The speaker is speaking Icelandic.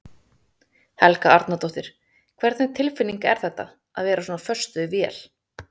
Helga Arnardóttir: Hvernig tilfinning er þetta, að vera svona föst við vél?